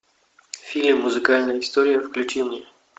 фильм музыкальная история включи мне